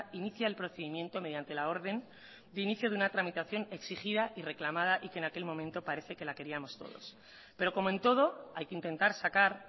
inicia el procedimiento mediante la orden de inicio de una tramitación exigida y reclamada y que en aquel momento parece que la queríamos todos pero como en todo hay que intentar sacar